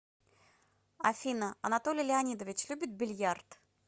афина анатолий леонидович любит бильярд